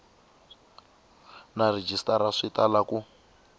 na rhejisitara swi tala ku